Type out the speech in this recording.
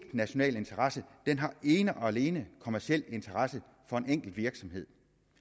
national interesse den har ene og alene kommerciel interesse for en enkelt virksomhed